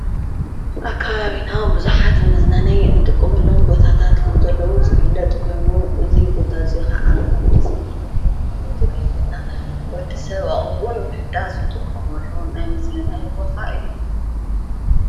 ኣካ ኣብና ብዙኃት መዝናነይ ንጥቆሙኣሎም ቦታታት ከም ዘለዉ ዝብለጥ ጐይዎ እዙይ ቦታ እዙይ ኸዓን ኻንፍስተርዜም ጐይሙ ዘገልግለና ወዲ ሰብ ኣእምርኡ ንምሕዳስ ዝጥቆም ኣሎዉን ናይ ምዝንናይ ቦታ እዩ።